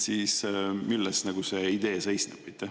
Milles see idee seisneb?